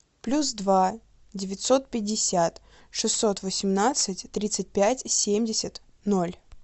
плюс два девятьсот пятьдесят шестьсот восемнадцать тридцать пять семьдесят ноль